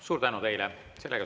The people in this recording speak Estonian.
Suur tänu teile!